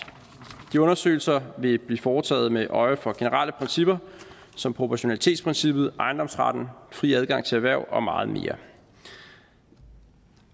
de undersøgelser vil blive foretaget med øje for generelle principper som proportionalitetsprincippet ejendomsretten fri adgang til erhverv og meget mere